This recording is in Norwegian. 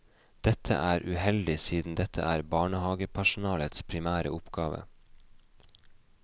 Dette er uheldig siden dette er barnehagepersonalets primære oppgave.